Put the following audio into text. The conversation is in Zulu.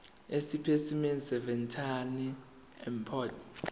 esipesimeni seveterinary import